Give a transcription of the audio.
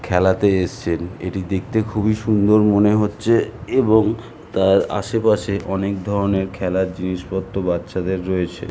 খেলাতে এসছেন এটি দেখতে খুবই সুন্দর মনে হচ্ছে এবং তার আশেপাশে অনেক ধরণের খেলার জিনিসপত্র বাচ্চাদের রয়েছে।